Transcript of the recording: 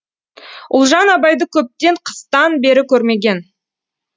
ұлжан абайды көптен қыстан бері көрмеген